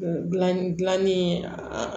Gilanni gilanni an